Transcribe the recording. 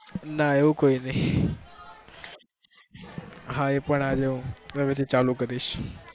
ના એવું કઈ નઈ, હા એ પણ ફરીથી ચાલુ કરીશ.